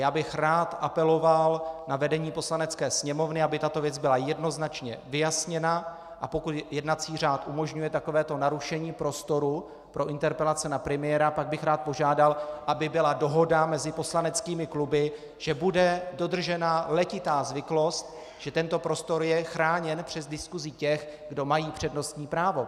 Já bych rád apeloval na vedení Poslanecké sněmovny, aby tato věc byla jednoznačně vyjasněna, a pokud jednací řád umožňuje takovéto narušení prostoru pro interpelace na premiéra, pak bych rád požádal, aby byla dohoda mezi poslaneckými kluby, že bude dodržena letitá zvyklost, že tento prostor je chráněn před diskusí těch, kdo mají přednostní právo.